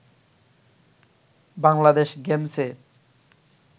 বাংলাদেশ গেমসে